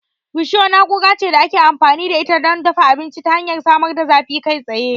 Risho na'ura ce da ake amfani da ita don dafa abinci ta hanyar samar da zafi kai tsaye.